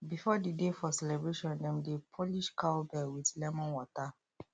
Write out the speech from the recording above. before the day for celebration dem dey polish cow bell with lemon water